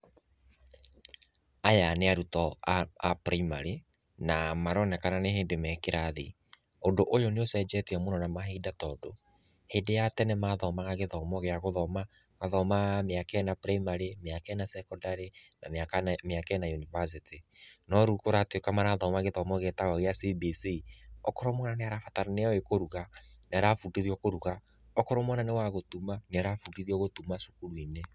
Aya nĩ arutwo a primary na maronekana nĩ hĩndĩ me kĩrathi. Ũndũ ũyũ nĩ ucenjetie mũno na mahinda tondũ, hĩndĩ ya tene mathomaga gĩthomo gĩa gũthoma, magathoma mĩaka ĩna primary, mĩaka ĩna sekondarĩ na mĩaka ĩna yunivasĩtĩ. No rĩu kũratuĩka marathoma gĩthomo gĩtagwo gĩa CBC, okorwo mwana nĩoĩ kũruga, nĩ arabundithio kũruga, okorwo mwana nĩ wa gũtuma, nĩ arabundithio gũtuma cukuru-inĩ.